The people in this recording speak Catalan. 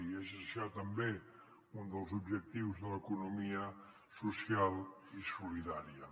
i és això també un dels objectius de l’economia social i solidària